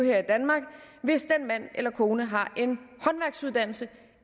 her i danmark hvis den mand eller kone har